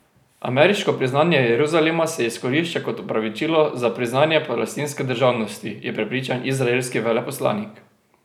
Ameriško priznanje Jeruzalema se izkorišča kot opravičilo za priznanje palestinske državnosti, je prepričan izraelski veleposlanik.